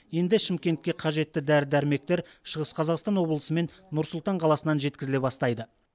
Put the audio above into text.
енді шымкентке қажетті дәрі дәрмектер шығыс қазақстан облысы мен нұр сұлтан қаласынан жеткізіле бастайды